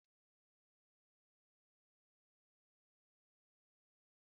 Ndị ụkọchukwu na-akọ akụkọ okpukpe na chọọchị